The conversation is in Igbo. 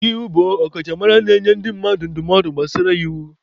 Ọka iwu bụ ọkachamara na-enye ndị mmadụ ndụmọdụ n'ihe gbasara iwu.